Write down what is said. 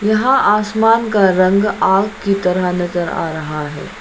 यहां आसमान का रंग आग़ की तरह नजर आ रहा है।